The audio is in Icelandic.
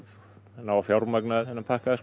ná að fjármagna þennan pakka